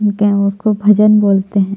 गेओ को भजन बोलते है।